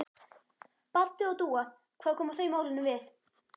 Baddi og Dúa, hvað koma þau málinu við?